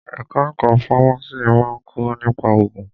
Ẹ̀ka ẹ̀kọ́ fámásì máa ń kọ́ nípa òògùn.